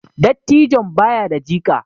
Dattijon ba ya da jika